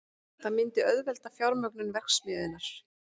Það myndi auðvelda fjármögnun verksmiðjunnar